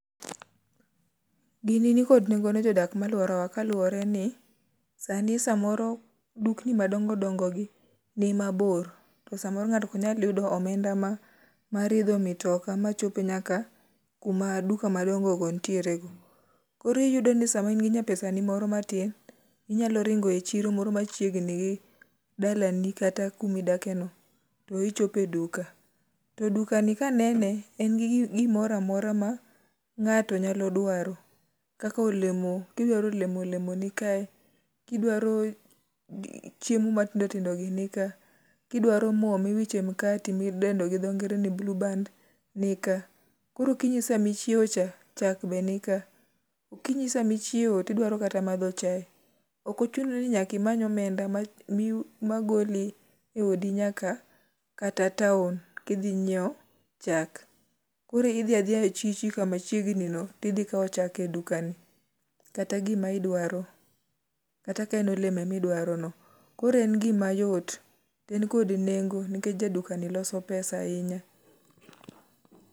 Gini nikod nengo ne jodak ma alworawa, kaluwore ni sani samoro dukni madongo dongo gi ni mabor. To samoro ngáto ok nyal yudo omenda ma, mar idho mitoka ma chope nyaka kuma duka madongo go nitiere ga. Koro iyudo ni sama in gi nyapesa ni moro matin, inyalo ringo e chiro moro machiegni gi dalani kata kuma idake no to ichope duka. To dukani ka anene to en gi gi gimoro amora ma ngáto nyalo dwaro. Kaka olemo, ka idwaro olemo, olemo ni kae. Kidwaro chiemo matindo tindo gi nik ka. Ka idwaro mo ma iwicho e mkati, mi dendo gi dho ngere ni blueband ni ka. Koro okinyi sama ichiewo cha, chak be nika. Okinyi sama ichiewo to idwaro kata madho chae, ok ochuno ni nyaka imany omenda ma mi ma goli e odi nyaka kata town kidhi nyiewo chak. Koro idhi adhiya e chichu kama chiegni no, to idhi kawo chak e dukani. Kata gima idwaro. Kata ka en olemo ema idwaro no. Koro en gima yot, to en kod nengo, nikech ja dukani loso pesa ahinya.